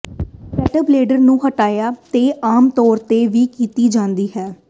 ਪੈਟਬਲੇਡਰ ਨੂੰ ਹਟਾਉਣ ਤੋਂ ਆਮ ਤੌਰ ਤੇ ਵੀ ਕੀਤਾ ਜਾਂਦਾ ਹੈ